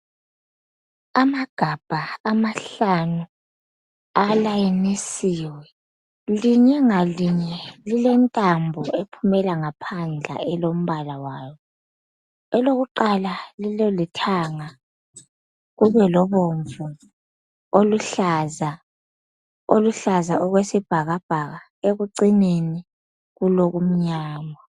Amagabha amahlanu alayinisiwe, linye ngalinye lilentambo ephumela ngaphandle elombala wayo. Elokuqala lilolithanga kube lobomvu, oluhlaza, oluhlaza okwesibhakabhaka. Ekucineni kulokumnyama.